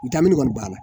N taamini kɔni banna